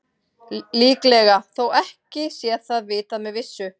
Líklega, þó ekki sé það vitað með vissu.